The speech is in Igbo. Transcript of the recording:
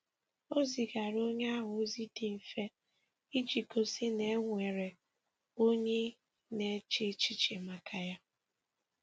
Ọ zigara onye ahụ ozi dị mfe iji gosi na e nwere onye na-eche echiche maka ya